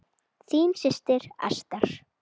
Þín systir, Ester.